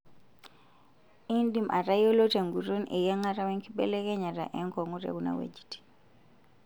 Indim atayiolo tenguton eyiangata wenkibelekenyata enkungu' tekuna wuejitin.